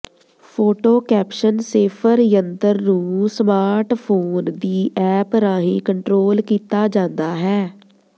photo caption Safer ਯੰਤਰ ਨੂੰ smartphone ਦੀ ਐਪ ਰਾਹੀਂ ਕੰਟਰੋਲ ਕੀਤਾ ਜਾਂਦਾ ਹੈ